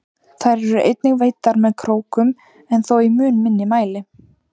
Þær eru einnig veiddar með krókum en þó í mun minni mæli.